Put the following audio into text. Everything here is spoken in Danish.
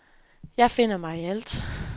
Jeg finder mig i alt.